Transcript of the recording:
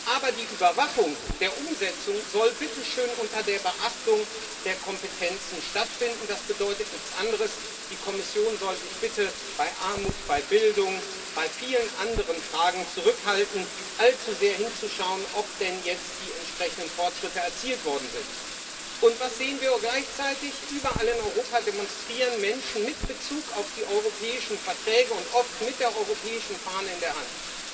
Aber die Überwachung der Umsetzung soll bitte schön unter der Beachtung der Kompetenzen stattfinden. Das bedeutet nichts anderes als Die Kommission soll sich bitte bei Armut, bei Bildung, bei vielen anderen Fragen zurückhalten, allzu sehr hinzuschauen, ob denn jetzt die entsprechenden Fortschritte erzielt worden sind. Und was sehen wir gleichzeitig? Überall in Europa demonstrieren Menschen mit Bezug auf die europäischen Verträge und oft mit der europäischen Fahne in der Hand.